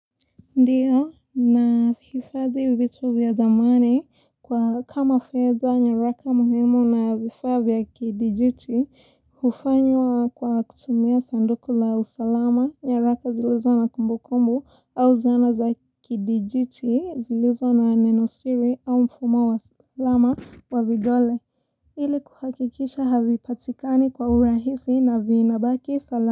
Ndiyo na hifazi ibitu vya zamani kwa kama feda nyaraka muhemu na vifabia kidijiti Hufanywa kwa kutumia sandoku la usalama, nyaraka zilizo na kumbu kumbu au zana za kidijuti, zilizo na nenosiri au mfuma wa salama wa vidole Ili kuhakikisha havi patikani kwa urahisi na viinabaki salamu.